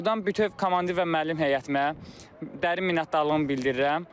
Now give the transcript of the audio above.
Burdan bütün rəhbər komandir və müəllim heyətimə dərin minnətdarlığımı bildirirəm.